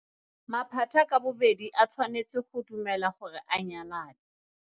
Maphata ka bobedi a tshwanetse go dumela gore a nyalane.